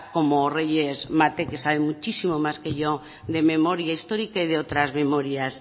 como reyes mate que sabe muchísimo más que yo de memoria histórica y de otras memorias